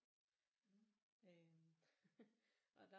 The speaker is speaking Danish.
Øh og der